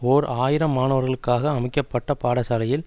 ஓர் ஆயிரம் மாணவர்களுக்காக அமைக்க பட்ட பாடசாலையில்